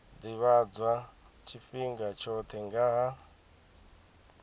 ḓivhadzwa tshifhinga tshoṱhe nga ha